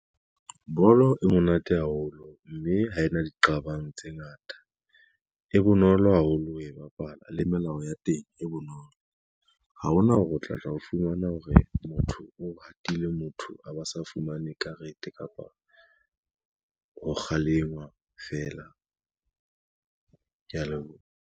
Bolo e monate haholo, mme ha e na diqabang tse ngata, e bonolo haholo ho e bapala le melao ya teng e bonolo. Ha ho na hore o tla ra o fumana hore motho o hatile motho a ba sa fumane karete kapa ho kgalengwa fela, kea leboha.